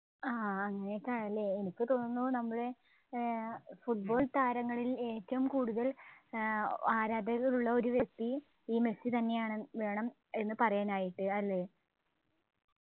ആഹ് അഗനെയൊക്കെ ആണല്ലേ എനിക്ക് തോന്നുന്നു നമ്മളെ ഏർ football താരങ്ങളിൽ ഏറ്റവും കൂടുതൽ ഏർ ആരാധകരുള്ള ഒരു വ്യക്തിയും ഈ മെസ്സി തന്നെയാണെന്ന് വേണം എന്ന് വേണം പറയാനായിട്ട് അല്ലേ